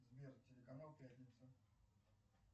сбер телеканал пятница